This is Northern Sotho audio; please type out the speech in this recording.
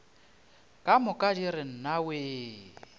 ka moka di re nnawee